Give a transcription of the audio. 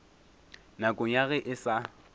nakong ya ge e sa